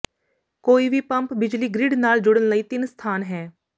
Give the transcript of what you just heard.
ਕੋਈ ਵੀ ਪੰਪ ਬਿਜਲੀ ਗਰਿੱਡ ਨਾਲ ਜੁੜਨ ਲਈ ਤਿੰਨ ਸਥਾਨ ਹੈ